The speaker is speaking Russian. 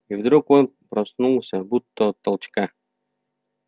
и вдруг он проснулся будто от толчка